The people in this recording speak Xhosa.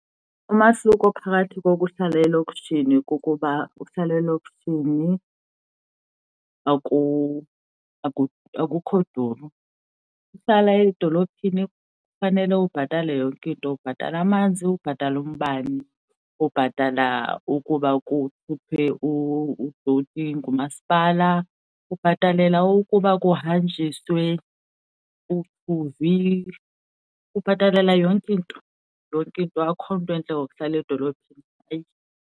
Umahluko phakathi kokuhlala elokishini kukuba uhlala elokishini akukho duru. Ukuhlala edolophini kufanele ubhatale yonke into. Ubhatala amanzi, ubhatale umbane, ubhatala ukuba kuthuthwe udothi ngumasipala. Ubhatalela ukuba kuhanjisiwe uthuvi, ubhatalela yonke into, yonke into akukho nto intle ngokuhlala edolophini, hayi.